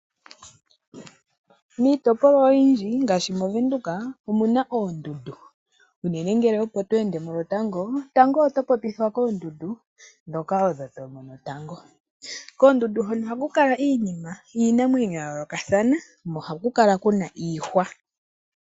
Miitopolwa oyindji ngaashi mOvenduka omu na oondundu. Unene ngele opo to ende mo lwotango, tango oto popithwa koondundu ndhoka odho to mono tango. Koondundu hono ohaku kala iinima, iinamwenyo ya yoolokathana nohaku kala ku na iihwa.